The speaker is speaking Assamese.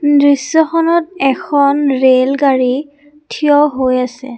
দৃশ্যখনত এখন ৰেলগাড়ী থিয় হৈ আছে।